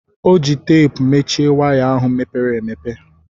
Ọ ji teepu mechie waya ahụ mepere emepe.